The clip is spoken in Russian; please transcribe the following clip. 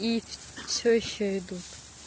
и всё ещё идут